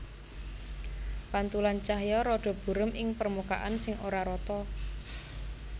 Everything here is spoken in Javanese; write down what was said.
Pantulan cahya rada burem ing permukaan sing ora rata